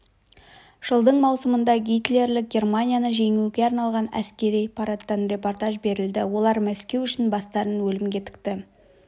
жылдың маусымында гитлерлік германияны жеңуге арналған әскери парадтан репортаж берілді олар мәскеу үшін бастарын өлімге тікті